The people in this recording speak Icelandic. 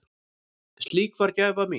Slík var gæfa mín.